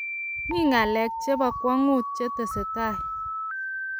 mi ng'alek che bo kwong'ut che tesetai.